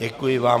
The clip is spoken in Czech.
Děkuji vám.